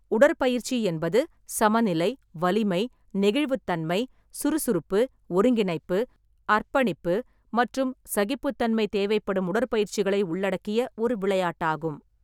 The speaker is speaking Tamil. உடற்பயிற்சி என்பது சமநிலை, வலிமை, நெகிழ்வுத்தன்மை, சுறுசுறுப்பு, ஒருங்கிணைப்பு, அர்ப்பணிப்பு மற்றும் சகிப்புத்தன்மை தேவைப்படும் உடற்பயிற்சிகளை உள்ளடக்கிய ஒரு விளையாட்டாகும்.